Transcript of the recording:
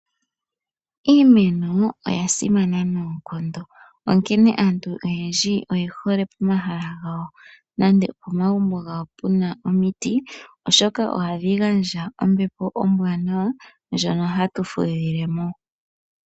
Iimeno oya simana noonkondo onkene aantu oyendji oyehoe pomahala gawo nande pomagumbo gawo puna omiti oshoka ohadhi gandja ombepo ombwanawa ndyono hatu fudhile mo.